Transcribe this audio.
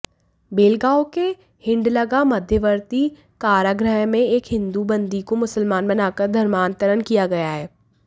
बेलगांवके हिंडलगा मध्यवर्ती कारागृहमें एक हिन्दू बंदीको मुसलमान बनाकर धर्मांतरण किया गया है